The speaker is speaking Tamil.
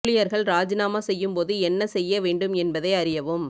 ஊழியர்கள் ராஜினாமா செய்யும் போது என்ன செய்ய வேண்டும் என்பதை அறியவும்